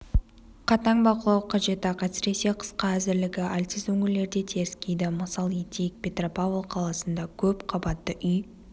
қатаң бақылау қажет-ақ әсіресе қысқа әзірлігі әлсіз өңірлерде теріскейді мысал етейік петропавл қаласында көп қабатты үй